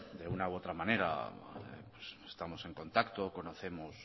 de una u otra manera estamos en contacto o conocemos